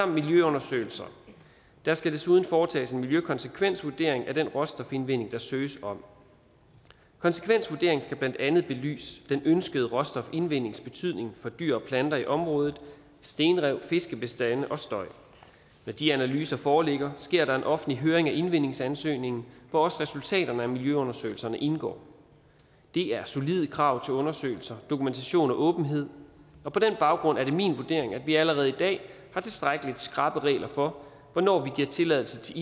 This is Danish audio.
miljøundersøgelser der skal desuden foretages en miljøkonsekvensvurdering af den råstofindvinding der søges om konsekvensvurderingen skal blandt andet belyse den ønskede råstofindvindings betydning for dyr og planter i området stenrev fiskebestande og støj når de analyser foreligger sker der en offentlig høring af indvindingsansøgningen hvor også resultaterne af miljøundersøgelserne indgår det er solide krav til undersøgelser dokumentation og åbenhed og på den baggrund er det min vurdering at vi allerede i dag har tilstrækkelig skrappe regler for hvornår vi giver tilladelse til